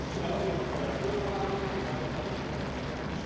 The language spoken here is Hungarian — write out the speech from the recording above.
Nyilván azért akarják fölszalámizni, hogy utána itt erősebbek legyenek.